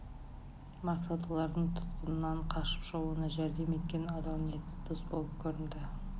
мақсат олардың тұтқыннан қашып шығуына жәрдем еткен адал ниетті дос болып көрінді